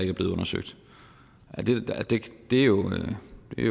er blevet undersøgt det er jo et